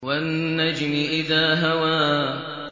وَالنَّجْمِ إِذَا هَوَىٰ